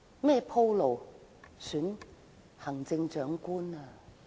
為競選行政長官鋪路。